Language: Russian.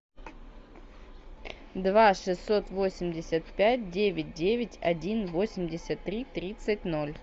два шестьсот восемьдесят пять девять девять один восемьдесят три тридцать ноль